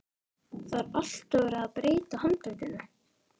Það er alltaf verið að breyta handritinu.